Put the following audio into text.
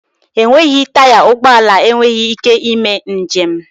Enweghị taya ụgbọ ala enweghị ike ị mee m'jem